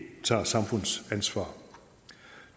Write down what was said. tager samfundsansvar